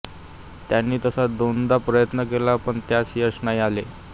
त्यानी तसा दोनदा प्रयत्न केला पण त्यास यश नाही आले